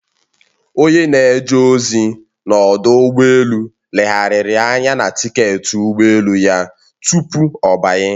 Onye na-eje ozi n'ọdụ ụgbọ elu legharịrị anya na tiketi ụgbọ elu ya tupu ọ banye